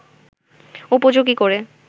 উপযোগী করে